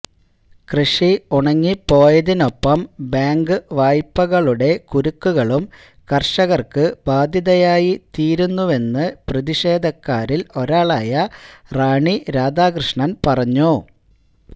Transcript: കൃഷി ഉണങ്ങിപ്പോയതിനൊപ്പം ബാങ്ക് വായ്പകളുടെ കുരുക്കുകളും കര്ഷകര്ക്ക് ബാധ്യതയായി തീരുന്നുവെന്ന് പ്രതിഷേധക്കാരില് ഒരാളായ റാണി രാധാകൃഷ്ണന് പറഞ്ഞു